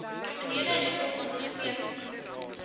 kriminele rekords onderteken